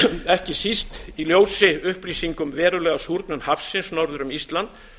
ekki síst í ljósi upplýsinga um verulega súrnun hafsins norður um ísland